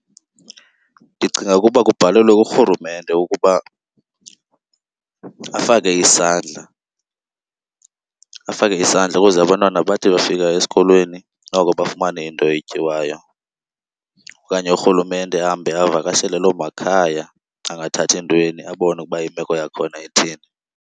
Ndicinga ukuba kubhalelwe kuRhulumente ukuba afake isandla, afake isandla ukuze abantwana bathi befika esikolweni noko bafumane into etyiwayo. Okanye uRhulumente ahambe ayovakashela loo makhaya angathathi ntweni abone ukuba imeko yakhona ithini.